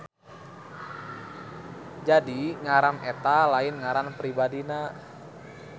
Jadi ngaran eta lain ngaran pribadina.